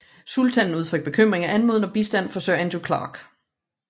Sultanen udtrykte bekymring og anmodede om bistand fra Sir Andrew Clarke